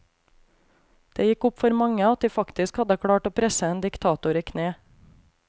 Det gikk opp for mange at de faktisk hadde klart å presse en diktator i kne.